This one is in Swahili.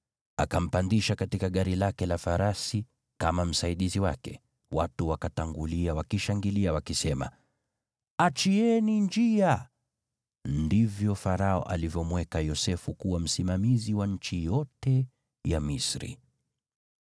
Akampandisha katika gari lake la farasi kama msaidizi wake, watu wakatangulia wakishangilia, wakisema, “Fungueni njia!” Ndivyo Farao alivyomweka Yosefu kuwa msimamizi wa nchi yote ya Misri.